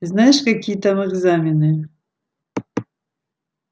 знаешь какие там экзамены